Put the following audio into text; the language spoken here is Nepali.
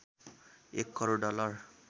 १ करोड डलर